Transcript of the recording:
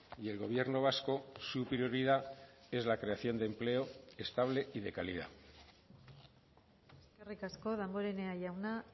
y el gobierno vasco su prioridad es la creación de empleo estable y de calidad eskerrik asko damborenea jauna